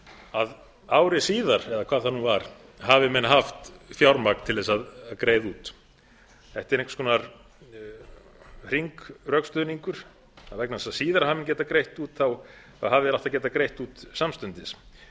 að ári síðar eða hvað það nú var hafi menn haft fjármagn til að greiða út þetta er einhvers konar hringrökstuðningur að vegna þess að síðar hafi menn getað greitt út hafi þeir átt að geta greitt út samstundis það er